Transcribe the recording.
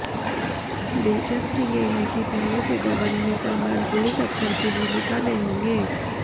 दिलचस्प ये है कि पहले से दबंग में सलमान पुलिस अफसर की भूमिका में होंगे